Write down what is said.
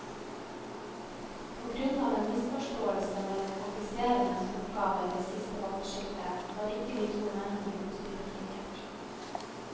På grunn av en misforståelse mellom offiserenes oppgaver ved siste vaktskifte, var ikke de to mennene utstyrt med kikkert.